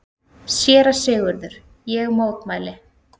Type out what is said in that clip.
SÉRA SIGURÐUR: Ég mótmæli!